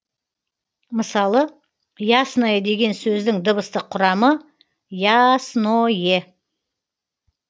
мысалы ясное деген сөздің дыбыстық құрамы йаснойэ